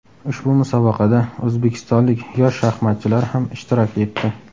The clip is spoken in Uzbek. Ushbu musobaqada o‘zbekistonlik yosh shaxmatchilar ham ishtirok etdi.